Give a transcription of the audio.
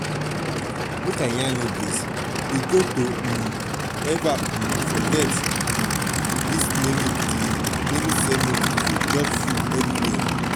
we no go um eva um forget um dis naming dis naming ceremony food just full everywhere.